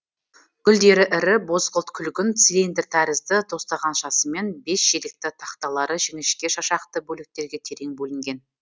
гүлдері ірі бозғылт күлгін цилиндр тәрізді тостағаншасымен бес желекті тақталары жіңішке шашақты бөліктерге терең бөлінген